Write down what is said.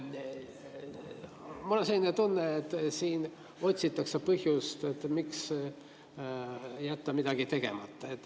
Mul on selline tunne, et siin otsitakse põhjust, miks jätta midagi tegemata.